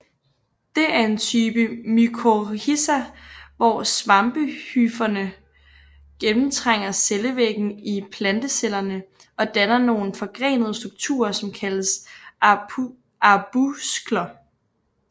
Det er en type mykorrhiza hvor svampehyferne gennemtrænger cellevæggen i plantecellerne og danner nogle forgrenede strukturer som kaldes arbuskler